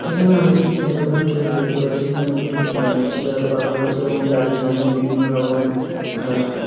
এইখানে আমরা একটি সেলুন -এর ছবি দেখতে পাচ্ছি যেখানে দুটি আহ চেয়ার পাতা রয়েছে এবং তারই সামনে বিভিন্ন রকমের আহ --